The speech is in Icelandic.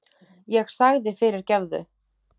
Ég sagði fyrirgefðu!